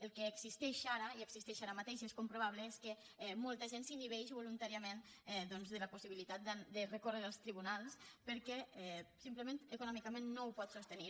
el que existeix ara i existeix ara mateix i és comprovable és que molta gent s’inhibeix voluntàriament doncs de la possibilitat de recórrer als tribunals perquè simplement econòmicament no ho pot sostenir